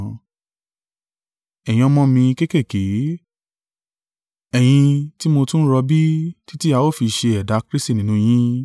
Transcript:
Ẹ̀yin ọmọ mi kéékèèké, ẹ̀yin tí mo tún ń rọbí títí a ó fi ṣe ẹ̀dá Kristi nínú yín.